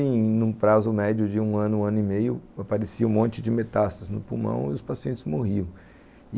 Em um prazo médio de um ano, um ano e meio, aparecia um monte de metástases no pulmão e os pacientes morriam.